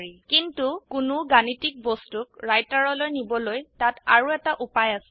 কিন্তু কোনো গাণিতিক বস্তুক ৰাইটাৰলৈ নিবলৈ তাত আৰো এটা উপায় আছে